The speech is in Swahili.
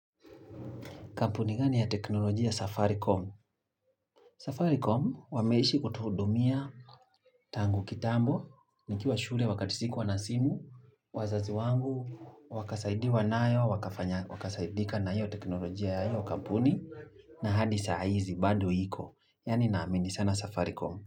Kampuni gani ya teknolojia safaricom? Safaricom wameishi kutuhudumia tangu kitambo, nikiwa shule wakati sikuwa nasimu, wazazi wangu, wakasaidiwa nayo, wakasaidika na hiyo teknolojia ya hiyo kampuni, na had saa hizi bando iko. Yani naamini sana safaricom.